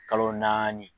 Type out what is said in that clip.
Kalo naani